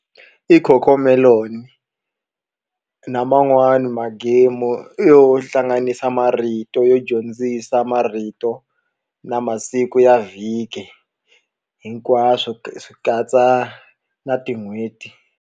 I Cocomelon na man'wani ma game yo hlanganisa marito yo dyondzisa marito na masiku ya vhiki hinkwaswo swi katsa na tin'hweti.